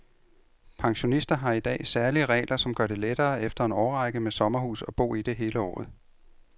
Pensionister har i dag særlige regler, som gør det lettere efter en årrække med sommerhus at bo i det hele året.